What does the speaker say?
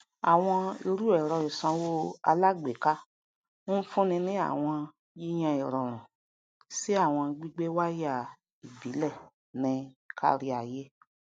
àwọn irúẹrọ ìsanwó alágbèéká ń fúnni ní àwọn yíyàn irọrun sí àwọn gbígbé wáyà ìbílẹ ní káríayé